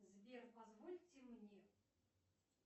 сбер позвольте мне